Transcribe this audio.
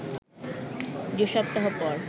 দু সপ্তাহ পর